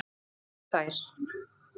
Og fá þær.